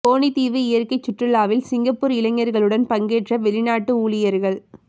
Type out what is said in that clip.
Coney தீவு இயற்கைச் சுற்றுலாவில் சிங்கப்பூர் இளையர்களுடன் பங்கேற்ற வெளிநாட்டு ஊழியர்கள்